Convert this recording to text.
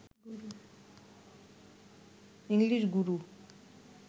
English Guru